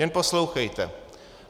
Jen poslouchejte.